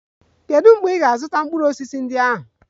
Kedu mgbe ị ga-azụta mkpụrụ osisi ndị ahụ?